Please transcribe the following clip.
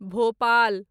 Bhopal